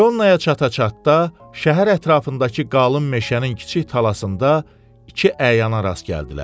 Peronnaya çata-çatda şəhər ətrafındakı qalın meşənin kiçik talasında iki əyana rast gəldilər.